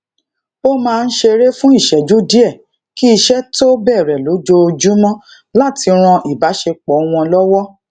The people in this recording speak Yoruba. ó máa n ṣeré fun ìṣéjú díè kí iṣé tó bèrè lójoojúmó lati ran ibasepo won lowo